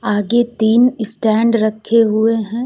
आगे तीन स्टैंड रखे हुए हैं।